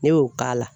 Ne y'o k'a la